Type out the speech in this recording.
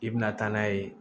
I bɛna taa n'a ye